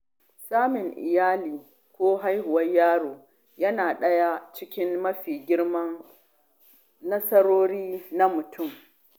Samun iyali ko haihuwar yaro na daga cikin mafi girman nasarori na mutum.